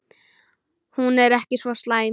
Hún er ekki svo slæm.